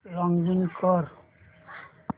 login कर